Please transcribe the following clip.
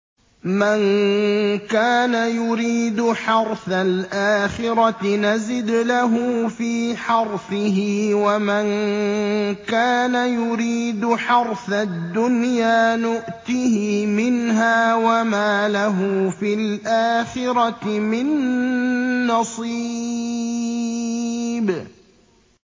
مَن كَانَ يُرِيدُ حَرْثَ الْآخِرَةِ نَزِدْ لَهُ فِي حَرْثِهِ ۖ وَمَن كَانَ يُرِيدُ حَرْثَ الدُّنْيَا نُؤْتِهِ مِنْهَا وَمَا لَهُ فِي الْآخِرَةِ مِن نَّصِيبٍ